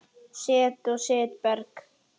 Set og setberg